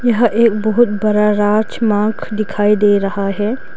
यह एक बहुत बड़ा राजमार्ग दिखाई दे रहा है।